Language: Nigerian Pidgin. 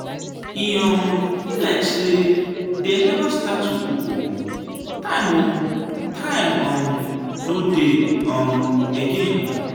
e um be like say dey never start to cook ooo. time ooo. time um no dey um again.